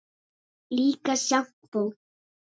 Líka sjampó.